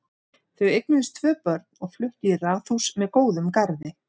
Þau eignuðust tvö börn og fluttu í raðhús með góðum garði.